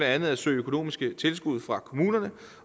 andet at søge økonomiske tilskud fra kommunerne